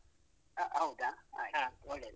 ಹ ಹೌದ? ಆಯ್ತು ಒಳ್ಳೇದು.